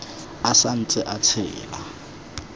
a sa ntse a tshela